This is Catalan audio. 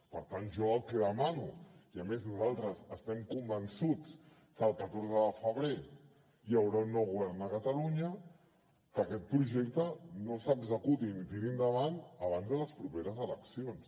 per tant jo el que demano i a més nosaltres estem convençuts que el catorze de febrer hi haurà un nou govern a catalunya que aquest projecte no s’executi ni tiri endavant abans de les properes eleccions